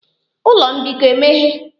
Ụlọ mbikọ emeghe?